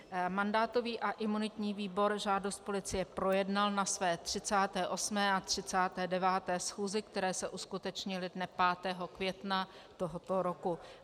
Mandátový a imunitní výbor žádost policie projednal na své 38. a 39. schůzi, které se uskutečnily dne 5. května tohoto roku.